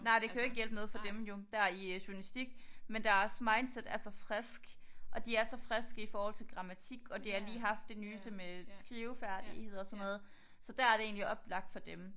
Nej det kan jo ikke hjælpe noget for dem jo dér i journalistik men deres mindset er så frisk og de er så friske i forholdt til grammatik og de har lige haft det nyeste med skrivefærdigheder og sådan noget så der er det egentlig oplagt for dem